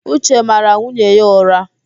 Uche mara nwunye ya ụ̀rá.